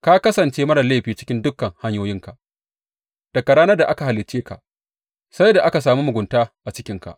Ka kasance marar laifi cikin dukan hanyoyinka daga ranar da aka halicce ka sai da aka sami mugunta a cikinka.